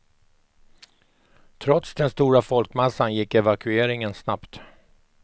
Trots den stora folkmassan gick evakueringen snabbt.